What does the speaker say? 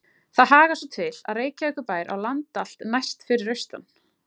Þar hagar svo til, að Reykjavíkurbær á land allt næst fyrir austan